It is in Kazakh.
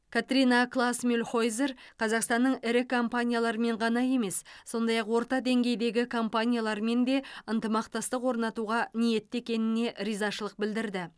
катрина клаас мюльхойзер қазақстанның ірі компаниялармен ғана емес сондай ақ орта деңгейдегі компаниялармен де ынтымақтастық орнатуға ниетті екеніне ризашылық білдірді